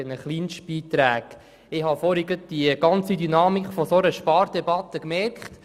Ich habe vorhin die Dynamik einer solchen Spardebatte bemerkt: